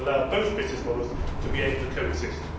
so. We should allow both business models to be able to coexist.